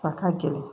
A ka gɛlɛn